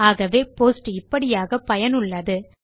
ஆகவே போஸ்ட் இப்படியாக பயனுள்ளது